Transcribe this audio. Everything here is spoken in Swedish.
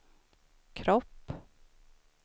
kropp